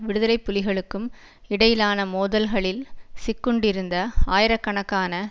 விடுதலை புலிகளுக்கும் இடையிலான மோதல்களில் சிக்குண்டிருந்த ஆயிரக்கணக்கான